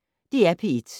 DR P1